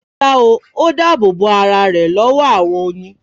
Rárá o, ó dáàbò bo ara rẹ̀ lọ́wọ́ àwọn oyin